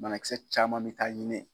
Banakisɛ caman bɛ taa ɲinɛ.